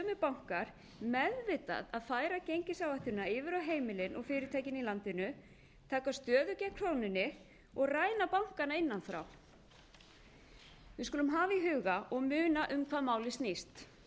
bankar meðvitað að færa gengisáhættuna yfir á heimilin og fyrirtækin í landinu taka stöðu gegn krónunni og ræna annan innan frá við skulum hafa í huga og muna um hvað málið snýst